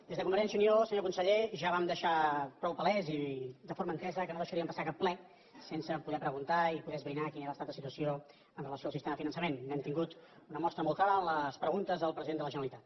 des de convergència i unió senyor conseller ja vam deixar prou palès i de forma entesa que no deixaríem passar cap ple sense poder preguntar i poder esbrinar quin era l’estat de situació amb relació al sistema de finançament n’hem tingut una mostra molt clara amb les preguntes al president de la generalitat